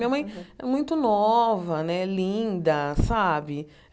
Minha mãe é muito nova né, linda, sabe?